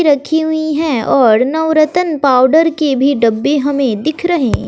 रखी हुई हैं और नवरतन पावडर के भी डब्बे हमें दिख रही--